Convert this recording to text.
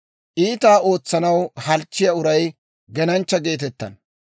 Iitaa ootsanaw halchchiyaa uray genanchcha geetettana.